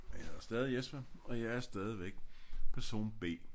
Og jeg hedder stadig Jesper og jeg er stadigvæk person B